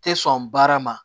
Tɛ sɔn baara ma